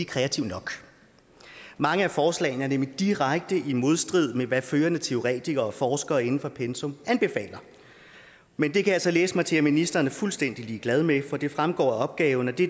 kreativ nok mange af forslagene er nemlig direkte i modstrid med hvad førende teoretikere og forskere inden for pensum anbefaler men det kan jeg så læse mig til ministeren er fuldstændig ligeglad med for det fremgår af opgaven at det